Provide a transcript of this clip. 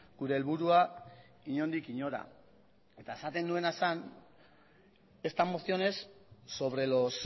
gure helburua inondik inora eta esaten nuena zen esta moción es sobre los